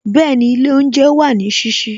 Bẹẹni, ilé oúnjẹ wà ní sísí